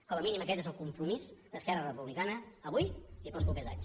com a mínim aquest és el compromís d’esquerra republicana avui i per als propers anys